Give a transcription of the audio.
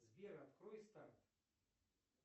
сбер открой старт